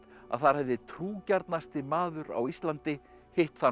að þar hefði maður á Íslandi hitt þann